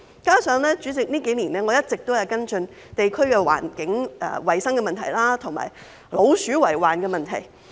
再者，代理主席，我這幾年一直跟進地區的環境衞生和老鼠為患的問題。